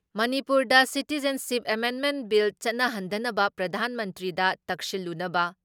ꯃꯅꯤꯄꯨꯔꯗ ꯁꯤꯇꯤꯖꯟꯁꯤꯞ ꯑꯦꯃꯦꯟꯃꯦꯟ ꯕꯤꯜ ꯆꯠꯅꯍꯟꯗꯅꯕ ꯄ꯭ꯔꯙꯥꯟ ꯃꯟꯇ꯭ꯔꯤꯗ ꯇꯛꯁꯤꯜꯂꯨꯅꯕ